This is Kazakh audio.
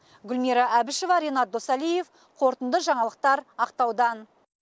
гүлмира әбішева ренат досалиев қорытынды жаңалықтар ақтаудан